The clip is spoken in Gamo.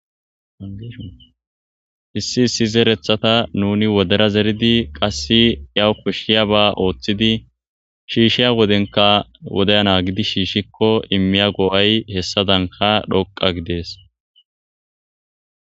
Issi issi zeereththata nuunii wodera zeeriddi yawu koshshoyabba Ooththidi shiishiya wodenikka wodiya naagiddi shiishikko iimiya go'ay hessadankka dhoqqa gides